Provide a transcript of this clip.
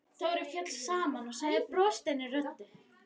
Dóri féll saman og sagði brostinni röddu: